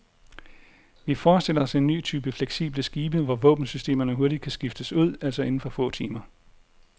Vi forestiller os en ny type fleksible skibe, hvor våbensystemerne hurtigt kan skiftes ud, altså inden for få timer.